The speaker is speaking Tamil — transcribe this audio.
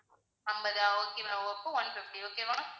ஐம்பதா okay ma'am அப்போ one fifty okay வா